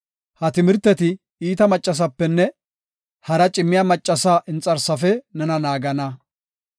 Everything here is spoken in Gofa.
Ha timirteti iita maccafenne hara cimmiya maccasa inxarsafe nena naagana.